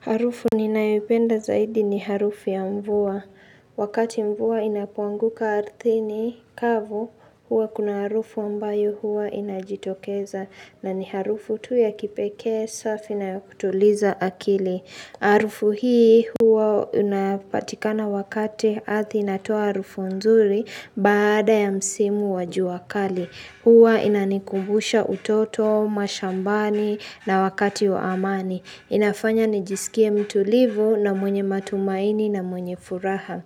Harufu ninayoipenda zaidi ni harufu ya mvua. Wakati mvua inapoanguka ardhini kavu, huwa kuna harufu ambayo huwa inajitokeza. Na ni harufu tu ya kipekee, safi na ya kutuliza akili. Harufu hii huwa inapatikana wakati ardhi inatoa harufu nzuri baada ya msimu wa jua kali. Huwa inanikumbusha utoto, mashambani na wakati wa amani. Inafanya nijisikia mtulivu na mwenye matumaini na mwenye furaha.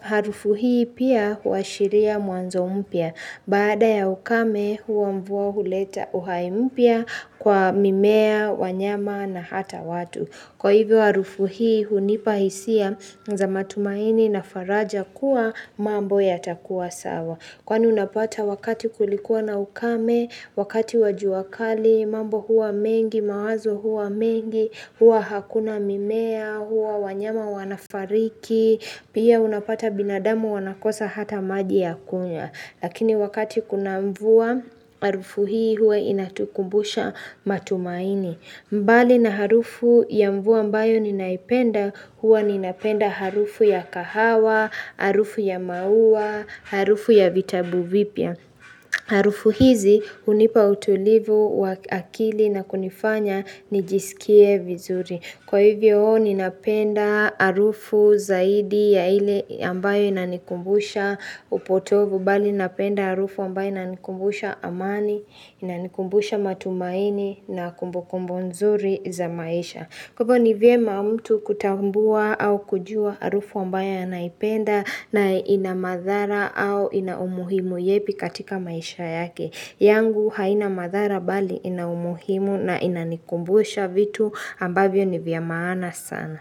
Harufu hii pia huashiria mwanzo mpya. Baada ya ukame huwa mvua huleta uhai mpya kwa mimea, wanyama na hata watu. Kwa hivyo harufu hii hunipa hisia za matumaini na faraja kuwa mambo yatakua sawa. Kwani unapata wakati kulikuwa na ukame, wakati wa jua kali, mambo huwa mengi, mawazo huwa mengi, huwa hakuna mimea, huwa wanyama wanafariki, pia unapata binadamu wanakosa hata maji ya kunywa Lakini wakati kuna mvua, harufu hii huwa inatukumbusha matumaini mbali na harufu ya mvua ambayo ninaipenda huwa ninapenda harufu ya kahawa, harufu ya maua, harufu ya vitabu vipya. Harufu hizi hunipa utulivu wa akili na kunifanya nijisikie vizuri. Kwa hivyo ninapenda harufu zaidi ya ile ambayo inanikumbusha upotovu. Bali napenda harufu ambayo inanikumbusha amani, inanikumbusha matumaini na kumbukumbo nzuri za maisha. Kwa hivyo ni vyema mtu kutambua au kujua harufu ambayo anaipenda na ina madhara au ina umuhimu yepi katika maisha yake. Yangu haina madhara bali ina umuhimu na inanikumbusha vitu ambavyo ni vya maana sana.